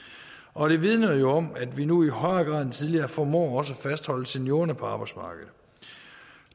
og det vidner jo om at vi nu i højere grad end tidligere formår også at fastholde seniorerne på arbejdsmarkedet